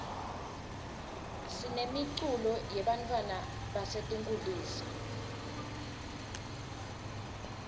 sinemiculo yebantfwana basetinkulisa